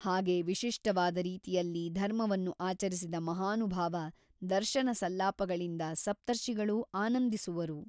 ಹಾಗೆ ವಿಶಿಷ್ಟವಾದ ರೀತಿಯಲ್ಲಿ ಧರ್ಮವನ್ನು ಆಚರಿಸಿದ ಮಹಾನುಭಾವ ದರ್ಶನಸಲ್ಲಾಪಗಳಿಂದ ಸಪ್ತರ್ಷಿಗಳೂ ಆನಂದಿಸುವರು.